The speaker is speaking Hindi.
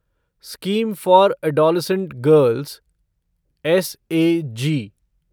scheme for adolescent girls SAG